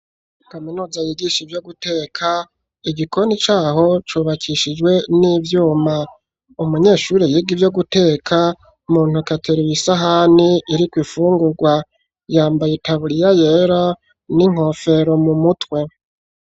Kaminuza yigisha ivyo guteka igikoni caho cubakishijwe n'ivyuma umunyeshure yige ivyo guteka muntoke ateruye isahani iriku ifungurwa yambaye itaburiya yera n'inkofero mu mutwe.